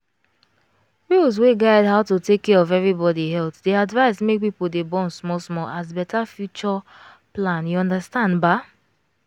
rules wey guide how to take care of everybody health dey advise make people dey born small small as better future plan you understand baa.